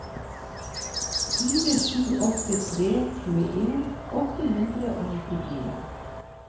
fire sju åtte tre tjueen åtte hundre og nittifire